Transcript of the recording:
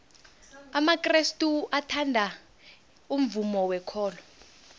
amakrestu athanda umvumo wekolo